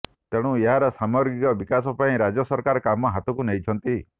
ତେଣୁ ଏହାର ସାମଗ୍ରିକ ବିକାଶ ପାଇଁ ରାଜ୍ୟ ସରକାର କାମ ହାତକୁ ନେଇଛନ୍ତି